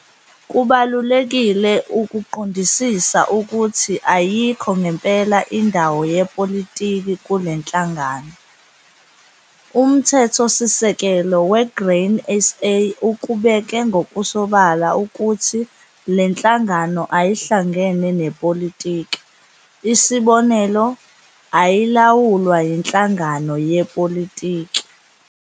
Kubalulekile ukuqondisisa ukuthi ayikho ngempela indawo yepolitiki kule nhlangano. Umthethosisekelo we-Grain SA ukubeke ngokusobala ukuthi le nhlangano ayihlangene nepolitiki, isibonelo- ayilawulwa yinhlangano yepolitiki.